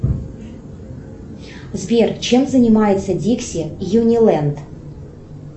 сбер чем занимается дикси юниленд